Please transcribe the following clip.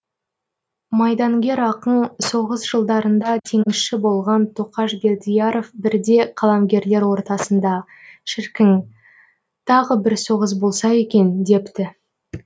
майдангер ақын соғыс жылдарында теңізші болған тоқаш бердияров бірде қаламгерлер ортасында шіркін тағы бір соғыс болса екен депті